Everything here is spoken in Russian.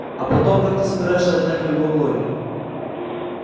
а потом как ты собираешься отнять у его глории